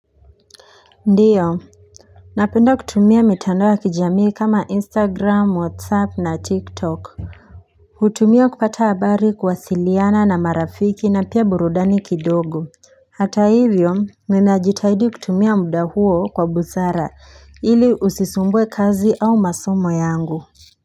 Ndiyo napenda kutumia mitandao ya kijamii kama instagram whatsapp na tiktok hutumia kupata habari kuwasiliana na marafiki na pia burudani kidogo hata hivyo ninajitahidi kutumia muda huo kwa busara ili usisumbue kazi au masomo yangu.